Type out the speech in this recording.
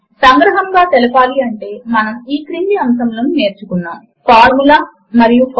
సంగ్రహముగా తెలపడము కొరకు మనము ఈ క్రింది అంశములను నేర్చుకున్నాము లిబ్రిఆఫిస్ మాత్ అంటే ఏమిటి